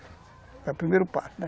Era o primeiro passo, né?